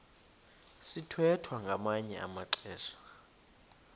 sithwethwa ngamanye amaxesha